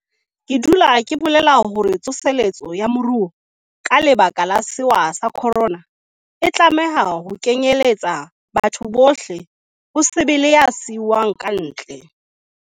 Ke dutse ke bolela hore tso seletso ya moruo ka lebaka la sewa sa khorona, e tlameha ho kenyeletsa motho ohle, ho se be le ya siuwang kantle.